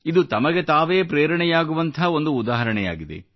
ಇದು ತಮಗೆ ತಾವೇ ಪ್ರೇರಣೆಯಾಗುವಂಥ ಒಂದು ಉದಾಹರಣೆಯಾಗಿದೆ